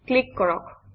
click কৰক